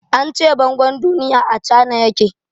An ce bangon duniya a Cana ya ke.